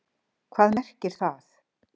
Hvað merkir það?